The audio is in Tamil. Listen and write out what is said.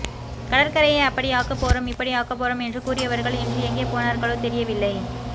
கடற்க்கரையை அப்படி ஆக்கப் போறோம் இப்படி ஆக்கப் போறாம் என்று கூறியவர்கள் இன்று எங்கே போனார்களோ தெரியவில்லை